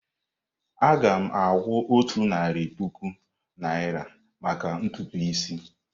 Aga m akwụ otu narị puku naira maka ntutu isi.